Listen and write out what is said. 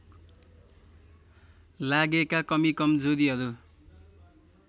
लागेका कमीकमजोरीहरू